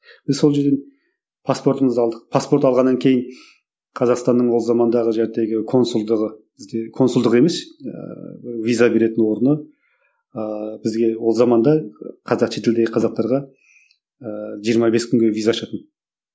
і сол жерден паспортымызды алдық паспорт алғаннан кейін қазақстанның ол замандағы консулдығы бізде консулдығы емес ыыы виза беретін орны ыыы бізге ол заманда қазақ шетелдегі қазақтарға ыыы жиырма бес күнге виза ашатын